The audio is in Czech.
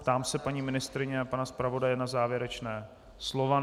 Ptám se paní ministryně a pana zpravodaje na závěrečná slova.